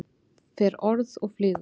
Fer orð og flýgur.